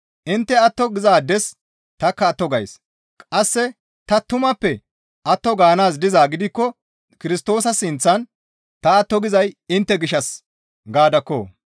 Intte atto gizaades tanikka atto gays; qasse ta tumappe atto gaanaazi dizaa gidikko Kirstoosa sinththan ta atto gizay intte gishshas gaadakko.